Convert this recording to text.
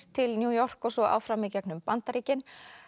til New York og svo áfram í gegnum Bandaríkin